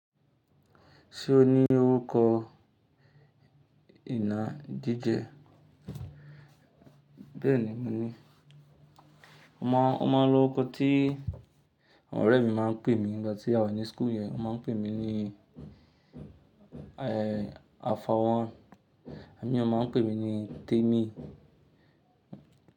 Ṣé o ní orúkọ ìna jíjẹ? Bẹ́ẹ̀ni, mo ní. Ọ máa ń, Ọ máa ń lo orúkọ tí àwọn ọ̀rẹ́ mi máa ń pè mí ní ìgbà tí a wà ní school yẹn. Wọ́n máa ń pè mí ní, ẹ́, Afawọn àní wọn máa ń pè mí ní Tẹ́mi.